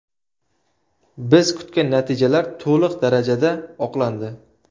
Biz kutgan natijalar to‘liq darajada oqlandi.